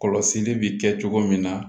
Kɔlɔsili bi kɛ cogo min na